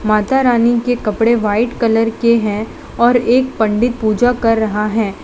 माता रानी के कपड़े व्हाइट कलर के हैं और एक पंडित पूजा कर रहा है।